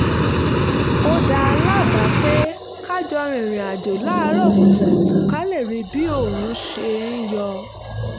ó dá a lábàá pé ká jọ rìnrìn àjò láàárọ̀ kùtùkùtù ká lè rí bí oòrùn ṣe ń yọ